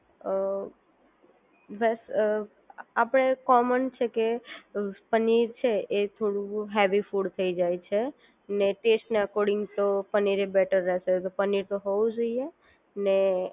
અ બસ અ આપણે કોમન છે કે પનીર છે એ થોડું હેવી ફૂડ થઈ જાય છે ને ટેસ્ટ અને અકોર્ડીંગ તો પનીર એ બેટર રહેશે પનીર તો હોવું જોઈએ અને